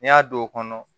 N'i y'a don o kɔnɔ